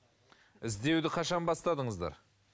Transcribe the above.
іздеуді қашан бастадыңыздар